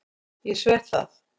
Ég sver það.